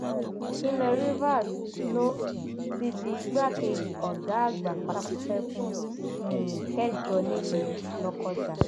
ìpínlẹ rivers ló um ti di igbákejì ọgá àgbà pátápátá fún ẹkùn um kẹjọ nílùú lọkọjà